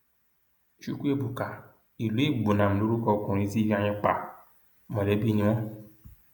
chukwuebuka iloegbunam lorúkọ ọkùnrin tí ifeanyi pa mọlẹbí ni wọn